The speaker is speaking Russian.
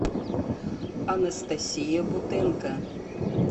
анастасия бутенко